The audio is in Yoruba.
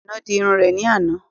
Àínà dì ìrún rẹ̀ ní àná